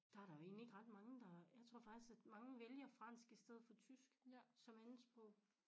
Der der jo egentlig ikke ret mange der jeg tror faktisk at mange vælger fransk i stedet for tysk som andetsprog